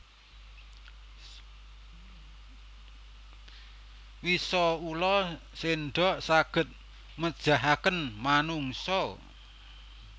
Wisa Ula sendok saged mejahaken manungsa